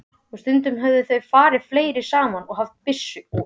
Og stundum höfðu þeir farið fleiri saman og haft byssu.